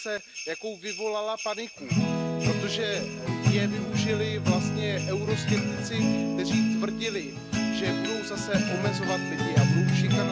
Stelle ganz besonders der Berichterstatterin danken, dass sie nicht lockergelassen hat und dass sie hartnäckig an diesem Fall drangeblieben ist.